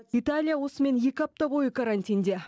италия осымен екі апта бойы карантинде